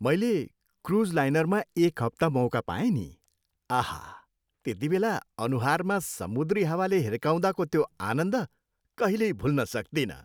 मैले क्रुज लाइनरमा एक हप्ता मौका पाएँ नि। आहा! त्यतिबेला अनुहारमा समुद्री हावाले हिर्काउँदाको त्यो आनन्द कहिल्यै भुल्न सक्तिनँ।